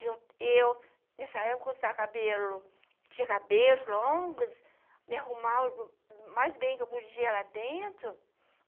E eu e eu, nessa época, com saco de cabelo, tinha cabelos longos, me arrumava mais bem do que eu podia lá dentro.